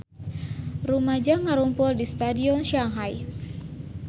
Rumaja ngarumpul di Stadion Shanghai